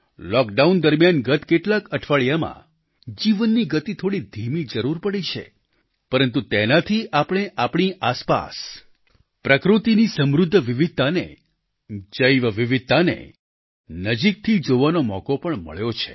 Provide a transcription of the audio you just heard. lockdown દરમિયાન ગત કેટલાક અઠવાડિયામાં જીવનની ગતિ થોડી ધીમી જરૂર પડી છે પરંતુ તેનાથી આપણે આપણી આસપાસ પ્રકૃતિની સમૃદ્ધ વિવિધતાને જૈવવિવિધતાને નજીકથી જોવાનો મોકો પણ મળ્યો છે